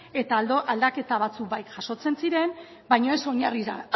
eta aldaketa batzuk bai jasotzen ziren baina